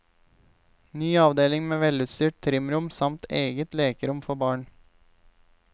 Ny avdeling med velutstyrt trimrom samt eget lekerom for barn.